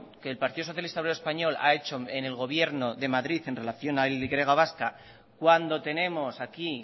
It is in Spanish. que el partido socialista obrero español ha hecho en el gobierno de madrid en relación a la y vasca cuando tenemos aquí